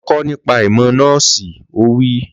Lọ kọ́ nípa ìmọ̀ nọ́ọ̀sì! Ó wí